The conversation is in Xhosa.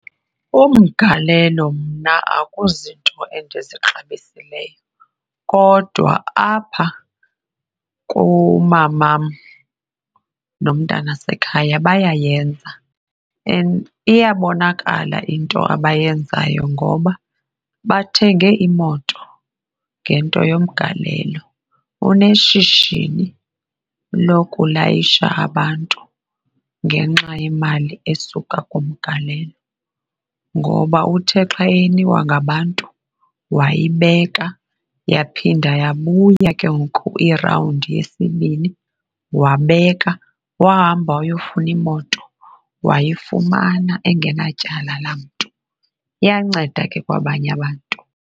Umgalelo mna akuzinto endizixabisekileyo kodwa apha kumamam nomntana wasekhaya bayayenza and iyabonakala into abayenzayo ngoba bathenge imoto ngento yomgalelo oneshishini lokulayisha abantu ngenxa yemali esuka kumgalelo. Ngoba uthe xa eyinikwa ngabantu wayibeka yaphinda yabuya ke ngoku irawundi yesibini wabeka, wahamba wayofuna imoto, wayifumana engenatyala la mntu. Iyanceda ke kwabanye abantu.